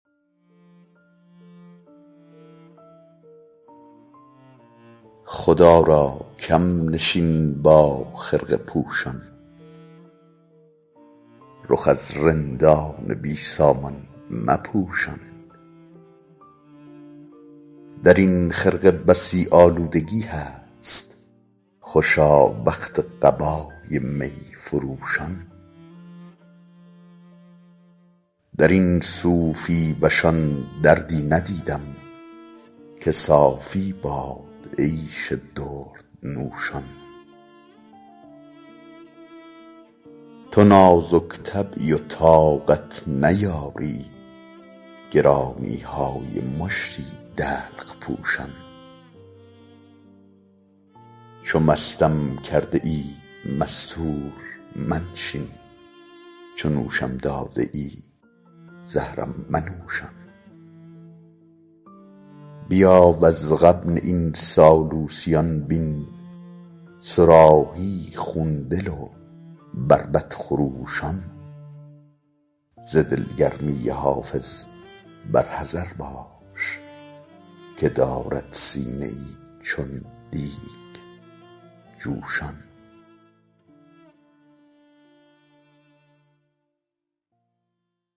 خدا را کم نشین با خرقه پوشان رخ از رندان بی سامان مپوشان در این خرقه بسی آلودگی هست خوشا وقت قبای می فروشان در این صوفی وشان دردی ندیدم که صافی باد عیش دردنوشان تو نازک طبعی و طاقت نیاری گرانی های مشتی دلق پوشان چو مستم کرده ای مستور منشین چو نوشم داده ای زهرم منوشان بیا وز غبن این سالوسیان بین صراحی خون دل و بربط خروشان ز دلگرمی حافظ بر حذر باش که دارد سینه ای چون دیگ جوشان